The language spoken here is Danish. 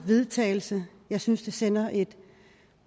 vedtagelse jeg synes det sender et